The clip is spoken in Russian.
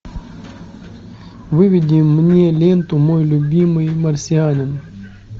выведи мне ленту мой любимый марсианин